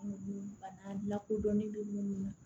Bana lakodɔnnen don minnu na